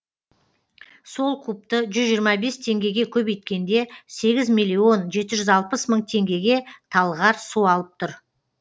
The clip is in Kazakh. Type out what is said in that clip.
сол кубты жүз жиырма бес теңгеге көбейткенде сегіз миллион жеті жүз алпыс мың теңгеге талғар су алып тұр